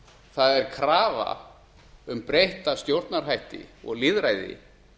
það er krafa um breytta stjórnarhætti og lýðræði